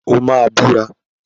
O máa búra.